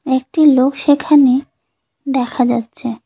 একটি লোক সেখানে দেখা যাচ্ছে।